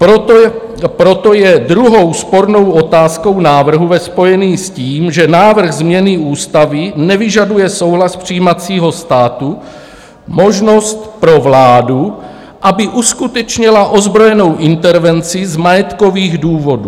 Proto je druhou spornou otázkou návrhu ve spojení s tím, že návrh změny ústavy nevyžaduje souhlas přijímacího státu, možnost pro vládu, aby uskutečnila ozbrojenou intervenci z majetkových důvodů.